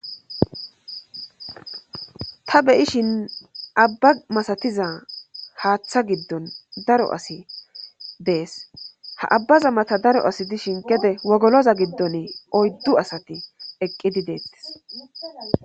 Ta beyishin abba masatiza haaththa giddon daro asi dees ha abbaza mata daro asi dishin gede wogoloza giddon oyddu asati eqqidi deettis